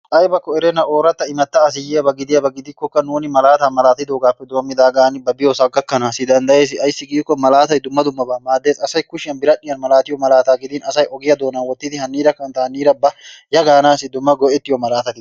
Aybba erenna ooratta immata asi yiyyaaba gidiyaaba gidikkokka nuuni malaata malaattidoogappe denddidaagan ba diyoosa gakkanassi danddayees. Ayssi giiko malaatay dumma dummaba maaddees. Asay kushiyan biradhdhiyaan malaatiyo malaata gidin asay ogiyaa doonan wottidi haniira kantta, haniira ba ya gaanassi dumma go''ettiyo malaatati.